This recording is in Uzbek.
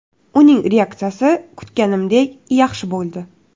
Uning reaksiyasi kutganimdek yaxshi bo‘ldi.